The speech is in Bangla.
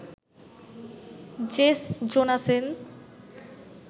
Jess Jonassen